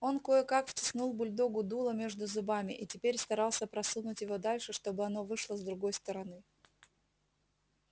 он кое как втиснул бульдогу дуло между зубами и теперь старался просунуть его дальше чтобы оно вышло с другой стороны